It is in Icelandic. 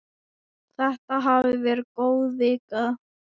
Þetta hafði verið góð vika.